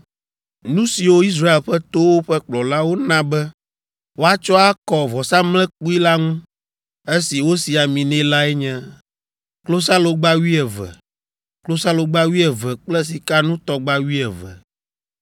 Nu siwo Israel ƒe towo ƒe kplɔlawo na be woatsɔ akɔ vɔsamlekpui la ŋu, esi wosi ami nɛ lae nye: klosalogba wuieve, klosalogba wuieve kple sikanutɔgba wuieve.